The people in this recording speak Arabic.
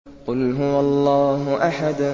قُلْ هُوَ اللَّهُ أَحَدٌ